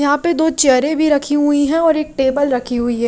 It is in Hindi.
यहां पे दो चेयर भी रखी हुई है और एक टेबल रखी हुई है.